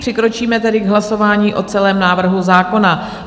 Přikročíme tedy k hlasování o celém návrhu zákona.